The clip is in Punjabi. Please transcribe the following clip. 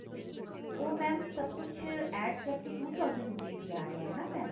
ਉਹ mam ਸਭ ਕੁੱਝ add ਕਰਕੇ two thousand rupees ਈ ਆ ਰਿਹਾ ਏ ਨਾ mam